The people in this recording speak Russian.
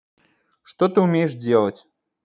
что ты умеешь делать